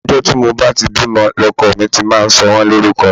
Àti ọjọ́ tí mo bá ti bímọ ni ọkọ mi ti máa ń sọ wọ́n ní orúkọ